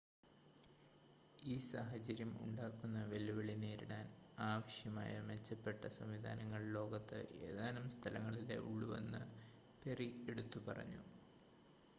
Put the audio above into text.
ഈ സാഹചര്യം ഉണ്ടാക്കുന്ന വെല്ലുവിളി നേരിടാൻ ആവശ്യമായ മെച്ചപ്പെട്ട സംവിധാനങ്ങൾ ലോകത്ത് ഏതാനും സ്ഥലങ്ങളിലേ ഉള്ളൂവെന്ന് പെറി എടുത്തു പറഞ്ഞു